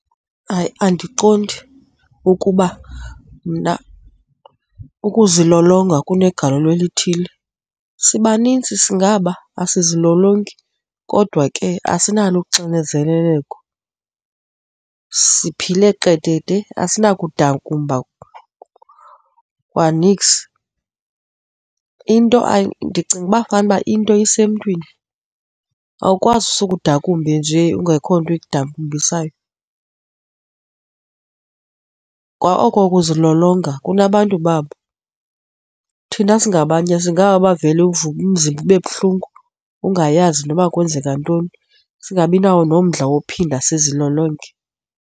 Hayi, andiqondi ukuba mna ukuzilolonga kunegalelo elithile. Sibanintsi singaba asizilolongi kodwa ke asinalo uxinezeleko, siphile qedede, asinakudakumba kwaniks. Into ndicinga uba fanuba into isemntwini, awukwazi usuke udakumbe njee kungekho nto ikudambisayo. Kwa oko ukuzilolonga kunabantu babo, thina singabanye singaba bavele uvuke umzimba ube buhlungu, ungayazi noba kwenzeka ntoni, singabi nawo nomdla wokuphinda sizilolonge.